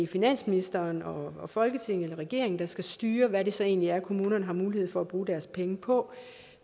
finansministeren og folketinget og regeringen der skal styre hvad det så egentlig er kommunerne har mulighed for at bruge deres penge på